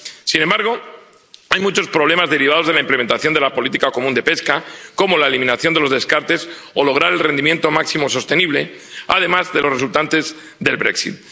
Sin embargo, hay muchos problemas derivados de la implementación de la política común de pesca, como la eliminación de los descartes o lograr el rendimiento máximo sostenible, además de los resultantes del Brexit